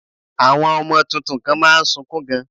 Àwọn ọmọ tuntun kan má a nsukún gan